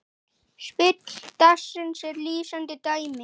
Spil dagsins er lýsandi dæmi.